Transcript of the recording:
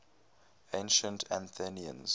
ancient athenians